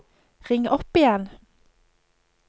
ring opp igjen